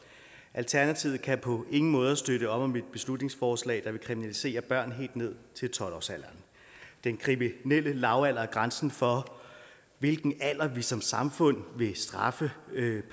alternativet kan på ingen måder støtte op om et beslutningsforslag der vil kriminalisere børn helt ned til tolv årsalderen den kriminelle lavalder er grænsen for hvilken alder vi som samfund vil straffe